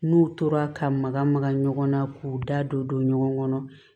N'u tora ka maga maga ɲɔgɔn na k'u da don ɲɔgɔn kɔnɔ